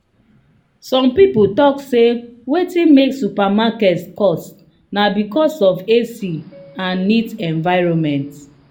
some people talk say wetin make supermarket cost na because of ac and neat environment.